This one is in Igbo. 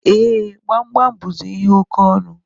E, Gbamgbam buzi ihe oke ọnụ